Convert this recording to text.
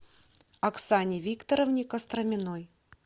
оксане викторовне костроминой